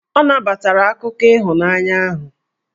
Ọ nabatara akụkọ ịhụnanya ahụ.